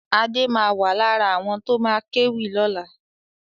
Adé ma wà lára àwọn tó ma kéwì lọ́la